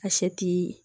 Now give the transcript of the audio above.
A sɛ ti